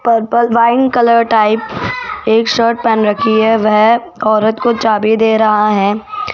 Purple wine colour type एक shirt पहन रखी है वह औरत को चाबी दे रहा है।